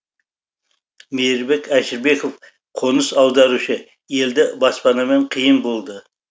мейірбек әшірбеков қоныс аударушы елді баспанамен қиын болды